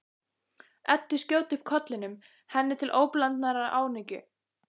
Eddu skjóta upp kollinum, henni til óblandinnar ánægju.